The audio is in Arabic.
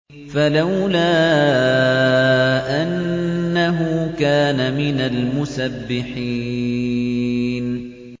فَلَوْلَا أَنَّهُ كَانَ مِنَ الْمُسَبِّحِينَ